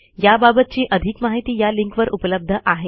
याबाबतची आधिक माहिती या लिंकवर उपलब्ध आहे